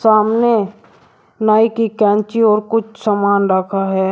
सामने नाई कि कैंची और कुछ सामान रखा है।